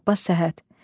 Abbas Səhhət.